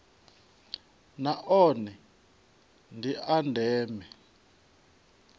na one ndi a ndeme